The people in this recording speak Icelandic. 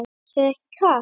Er þér ekki kalt?